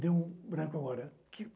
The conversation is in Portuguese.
Deu um branco agora.